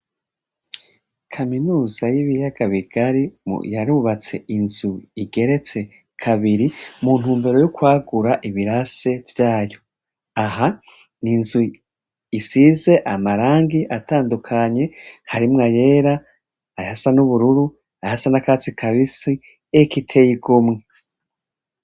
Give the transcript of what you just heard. Kaminuza y'ibiyaga bigari yarubatse inzu igeretse kabiri muntu mbero y'ukwagura ibirase vyayo, aha ni inzu isize amarangi atandukanye, harimwo ayera, aha sa n'ubururu, aha sa n'akatsi kabisi ekiteyigomwi.